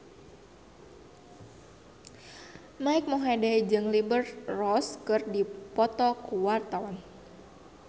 Mike Mohede jeung Liberty Ross keur dipoto ku wartawan